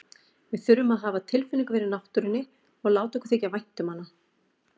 Við þurfum að hafa tilfinningu fyrir náttúrunni og láta okkur þykja vænt um hana.